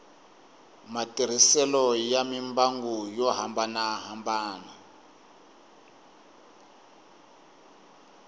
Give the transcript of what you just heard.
matirhiselo ya mimbangu yo hambanahambana